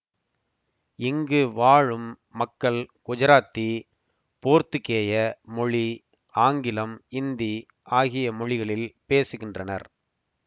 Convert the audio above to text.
இங்கு வாழும் மக்கள் குஜராத்தி போர்த்துக்கேய மொழி ஆங்கிலம் இந்தி ஆகிய மொழிகளில் பேசுகின்றனர்